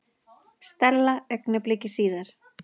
Stella augnabliki síðar.